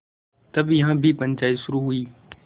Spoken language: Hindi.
तब यहाँ भी पंचायत शुरू हुई